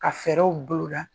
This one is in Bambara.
Ka fɛɛrɛw bolo da